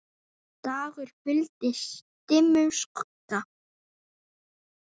dagur huldist dimmum skugga